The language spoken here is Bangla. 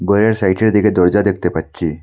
ঘরের সাইটের দিকে দরজা দেখতে পাচ্ছি।